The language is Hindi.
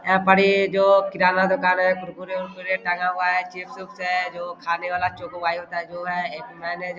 यहाँ पे ये जो किराना दुकान है कुरकुरे-उरकुरे टांगा हुआ है चिप्स-उप्स है जो खाने वाला जो चोको --